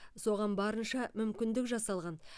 соған барынша мүмкіндік жасалған